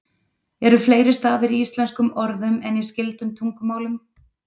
Eru fleiri stafir í íslenskum orðum en í skyldum tungumálum?